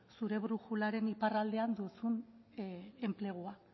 zure brujularen iparraldean duzun enplegua